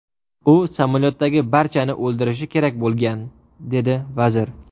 U samolyotdagi barchani o‘ldirishi kerak bo‘lgan”, dedi vazir.